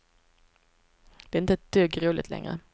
Det är inte ett dugg roligt längre.